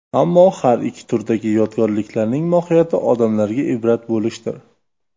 Ammo har ikki turdagi yodgorliklarning mohiyati odamlarga ibrat bo‘lishdir.